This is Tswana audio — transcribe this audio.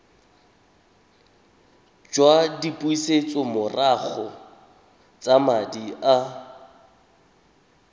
jwa dipusetsomorago tsa madi a